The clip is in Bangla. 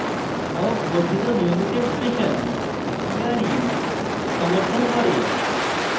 awk বর্ধিত নিয়মিত এক্সপ্রেশন ere সমর্থন করে